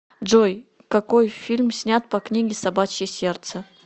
джой какои фильм снят по книге собачье сердце